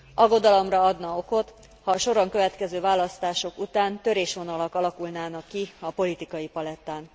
Aggodalomra adna okot, ha a soron következő választások után törésvonalak alakulnának ki a politikai palettán.